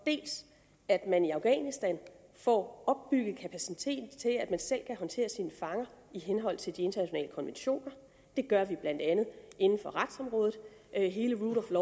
at man i afghanistan får opbygget kapaciteten til at man selv kan håndtere sine fanger i henhold til de internationale konventioner det gør vi blandt andet inden for retsområdet hele rule